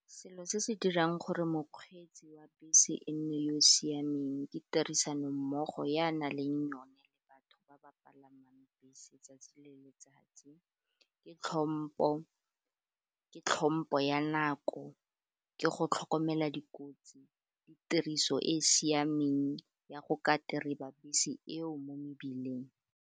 Selo se se dirang gore mokgweetsi wa bese e nne yo siameng, ke tirisanommogo ya nang le yone le batho ba ba palamang bese 'tsatsi le letsatsi, ke tlhompho, ka tlhompho ya nako, ke go tlhokomela dikotsi le tiriso e e siameng ya go ka tereba bese eo mo mebileng.